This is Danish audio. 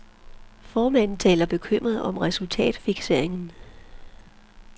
Formanden taler bekymret om resultatfikseringen.